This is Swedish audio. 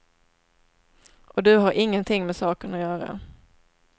Och du har ingenting med saken att göra.